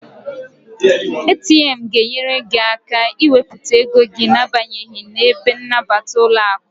ATM ga enyere gị aka ị wepụta ego gị na abanyeghi n'ebe nnabata ụlọaku